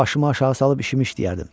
Başımı aşağı salıb işimi işləyərdim.